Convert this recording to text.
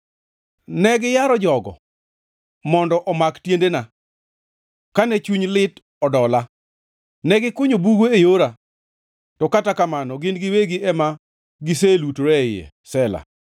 Ne giyaro jogo mondo omak tiendena, kane chuny lit odola. Ne gikunyo bugo e yora, to kata kamano gin giwegi ema giselutore e iye. Sela